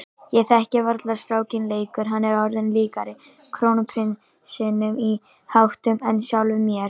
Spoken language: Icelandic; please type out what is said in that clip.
Ég þekki varla strákinn lengur, hann er orðinn líkari krónprinsinum í háttum en sjálfum mér.